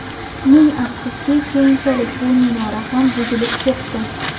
Ming afsuski, keyinchalik bu minora ham buzilib ketdi.